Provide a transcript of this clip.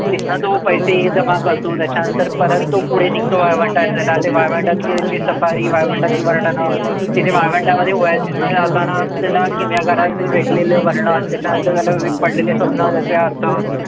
तिथनं तो पैसे जमा करतो. त्याच्यानंतर परत तो पुढे निघतो वाळवंटात जायला. ते वाळवंटातली त्याची सफारी, वाळवंटातली वर्णनं, तिथे वाळवंटामध्ये oasis मध्ये जाताना त्याला किमयागाराचं भेटलेलं वर्णन. त्याच्यानंतर त्याला पडलेले स्वप्नं. त्याचें